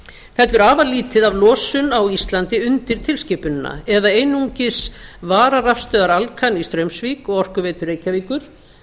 fellur afar lítið af losun á íslandi undir tilskipunina eða einungis vararafstöðvar alcan í straumsvík og orkuveitu reykjavíkur